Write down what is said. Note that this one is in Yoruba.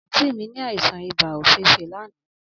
Anti mi ni aisan iba ofeefee lana.